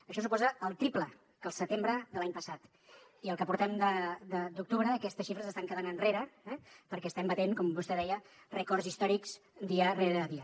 això suposa el triple que el setembre de l’any passat i el que portem d’octubre aquestes xifres estan quedant enrere perquè estem batent com vostè deia rècords històrics dia rere dia